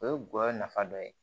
O ye gɔyɔ nafa dɔ ye